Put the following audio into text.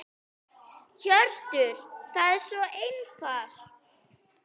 Hjörtur: Það er svo einfalt?